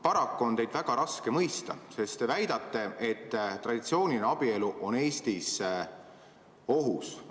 Paraku on teid väga raske mõista, sest te väidate, et traditsiooniline abielu on Eestis ohus.